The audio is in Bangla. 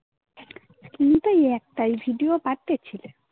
তুমিতো ওই একটাই. video পাঠিয়ে ছিলে